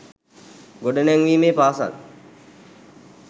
ගොඩනැංවීමේ පාසල්